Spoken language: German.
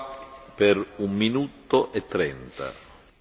Herr Präsident, Herr Kommissar, meine Damen und Herren!